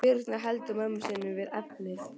Birna heldur mömmu sinni við efnið.